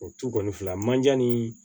O tu kɔni filɛ manjan ni